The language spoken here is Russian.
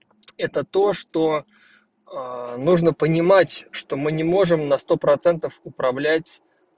это то что нужно понимать что мы не можем на сто процентов управлять